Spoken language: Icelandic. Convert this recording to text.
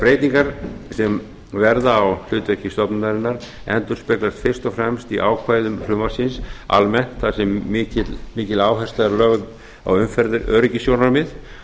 breytingar sem verða á hlutverki stofnunarinnar endurspeglast fyrst og fremst í ákvæðum frumvarpsins almennt þar sem mikil áhersla er lögð á umferðaröryggissjónarmið